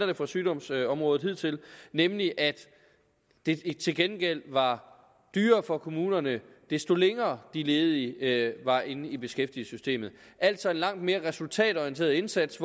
det fra sygdomsområdet hidtil nemlig at det til gengæld var dyrere for kommunerne desto længere de ledige var inde i beskæftigelsessystemet altså en langt mere resultatorienteret indsats